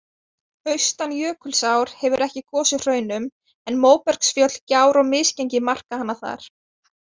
Austan Jökulsár hefur ekki gosið hraunum, en móbergsfjöll, gjár og misgengi marka hana þar.